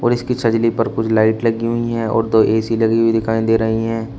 और इसकी सजली पर कुछ लाइट लगी हुई है और दो ऐ_सी लगी हुई दिखाई दे रही हैं।